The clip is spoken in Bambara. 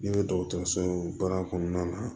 Ne bɛ dɔgɔtɔrɔso baara kɔnɔna na